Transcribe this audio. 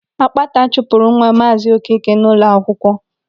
Ákpátá chụpụrụ nwa Maazị Okeke n'ụlọ akwụkwọ.